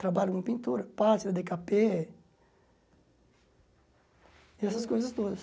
Trabalho com pintura, pátria, dê ká pê... E essas coisas todas.